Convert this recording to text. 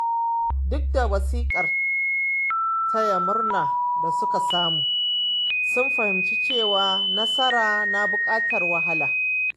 Duk da wasikar taya murna da suka samu, sun fahimci cewa nasara na buƙatar wahala.